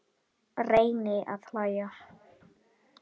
Reyni að hlæja.